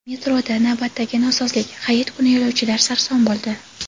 Metroda navbatdagi nosozlik: Hayit kuni yo‘lovchilar sarson bo‘ldi.